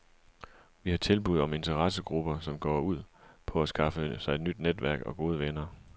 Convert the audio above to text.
Vi har tilbud om interessegrupper, som går ud på at skaffe sig et nyt netværk og gode venner.